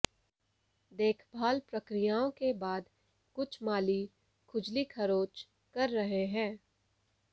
देखभाल प्रक्रियाओं के बाद कुछ माली खुजली खरोंच कर रहे हैं